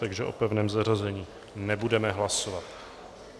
Takže o pevném zařazení nebudeme hlasovat.